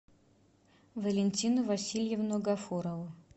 валентину васильевну гафурову